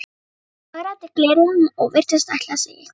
Hann hagræddi gleraugunum og virtist ætla að segja eitthvað.